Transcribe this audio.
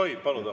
Tohib paluda.